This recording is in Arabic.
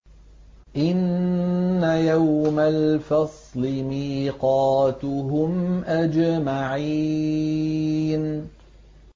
إِنَّ يَوْمَ الْفَصْلِ مِيقَاتُهُمْ أَجْمَعِينَ